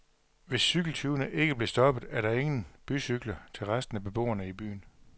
Hvis cykeltyvene ikke bliver stoppet, er der ingen bycykler til resten af beboerne i byen.